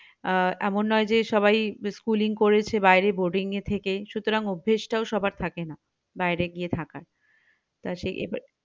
আহ এমন নয় যে সবাই schooling করেছে বাইরে boarding এ থেকেই সুতরাং অভ্যেস টাও সবার থাকে না বাইরে গিয়ে থাকা তো সেই